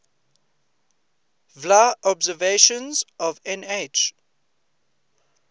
vla observations of nh